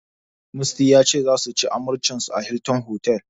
Musty ya ce, zasu yi amarcinsu a Hilton otal.